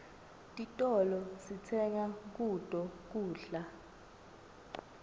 titolo sitsenga kuto kudla